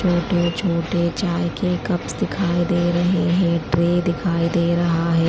छोटे छोटे चाय के कप्स दिखाई दे रहे हैं ट्रे दिखाई दे रहा है।